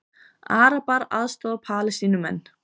Arabar aðstoða Palestínumenn